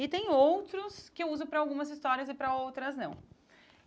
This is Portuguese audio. E tem outros que eu uso para algumas histórias e para outras não.